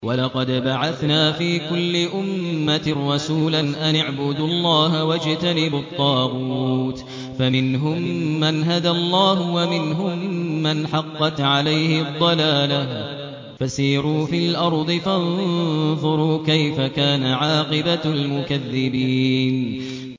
وَلَقَدْ بَعَثْنَا فِي كُلِّ أُمَّةٍ رَّسُولًا أَنِ اعْبُدُوا اللَّهَ وَاجْتَنِبُوا الطَّاغُوتَ ۖ فَمِنْهُم مَّنْ هَدَى اللَّهُ وَمِنْهُم مَّنْ حَقَّتْ عَلَيْهِ الضَّلَالَةُ ۚ فَسِيرُوا فِي الْأَرْضِ فَانظُرُوا كَيْفَ كَانَ عَاقِبَةُ الْمُكَذِّبِينَ